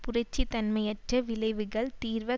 புரட்சி தன்மையற்ற விழைவுகள் தீர்வ